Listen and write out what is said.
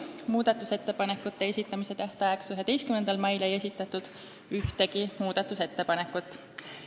Muudatusettepanekute esitamise tähtajaks, 11. maiks ei esitatud ühtegi ettepanekut.